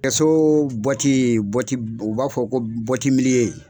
Kɛso u b'a fɔ ko